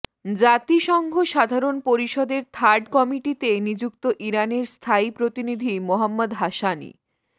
জাতিসংঘ সাধারণ পরিষদের থার্ড কমিটিতে নিযুক্ত ইরানের স্থায়ী প্রতিনিধি মোহাম্মদ হাসানি